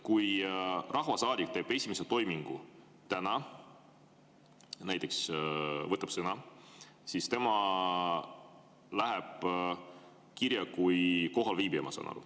Kui rahvasaadik teeb esimese toimingu täna, näiteks võtab sõna, siis ma saan aru, et tema läheb kirja kui kohalviibija.